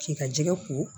K'i ka jɛgɛ ko